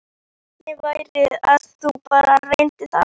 Hvernig væri að þú bara reyndir það?